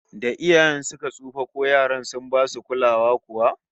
Da iyayen suka tsufa, ko yaran sun basu kulawa kuwa?